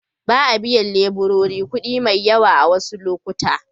Ba a biyan leburori kuɗi mai yawa a wasu lokuta.